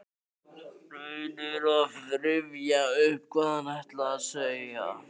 Reynir að rifja upp hvað hann ætlaði að segja.